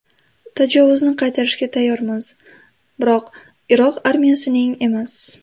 Tajovuzni qaytarishga tayyormiz, biroq Iroq armiyasining emas.